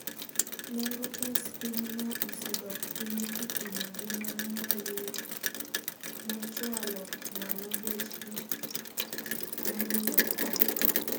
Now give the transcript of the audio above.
Nengo pes pinyno osedok piny kipimo gi mano ma yuro mochwalo malo bech gikmonyieu oko